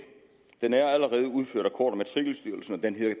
udført af kort og matrikelstyrelsen og den hedder